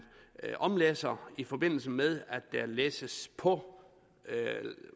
omlæsser og i forbindelse med at der læsses på